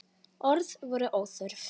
Orð voru óþörf.